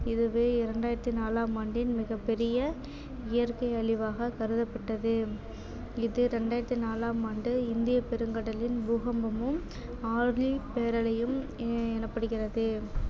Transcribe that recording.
இதுவே இரண்டாயிரத்தி நாலாம் ஆண்டின் மிகப் பெரிய இயற்கை அழிவாக கருதப்பட்டது இது ரெண்டாயிரத்தி நாலாம் ஆண்டு இந்தியப் பெருங்கடலின் பூகம்பமும் ஆழி பேரலையும் எ~ எனப்படுகிறது